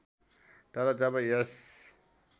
तर जब यस